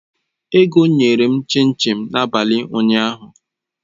Ego nyere m chin chin n'abalị ụnyaahụ